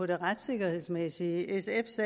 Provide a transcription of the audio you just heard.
det retssikkerhedsmæssige sfs